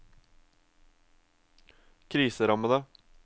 kriserammede